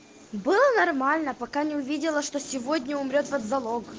было нормально пока не увидела что сегодня умрёт вот залог